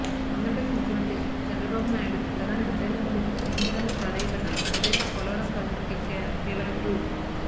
ఆంధ్రప్రదేశ్ ముఖ్యమంత్రి చంద్రబాబు నాయుడు ప్రధాని నరేంద్ర మోడిని ఎన్నిసార్లు ప్రాధేయపడినా బడ్జెట్ లో పోలవరం ప్రాజెక్టుకి కేవలం రూ